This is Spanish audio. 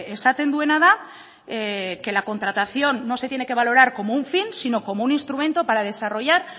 esaten duena da que la contratación no se tiene que valorar como un fin sino como un instrumento para desarrollar